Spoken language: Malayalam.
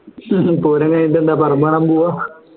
പൂരം കഴിഞ്ഞിട്ടെന്താ പറമ്പ് കാണാൻ പോവാ